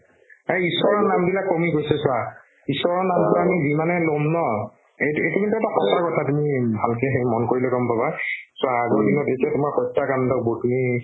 প্ৰায় ঈশ্ৱৰৰ নাম বিলাক কমি গৈছে চোৱা ঈশ্ৱৰৰ নামটো আমি যিমানে ল'ম ন এইটো এইটো কিন্তু এটা সঁচা কথা তুমি ভালকে সেই মন কৰিলে গম পাবা চোৱা আগৰ দিনত যেতিয়া তোমাৰ হত্যাকাণ্ডবোৰ